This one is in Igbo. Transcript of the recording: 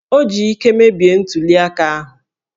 O ji íké mebie ntuli aka ahụ!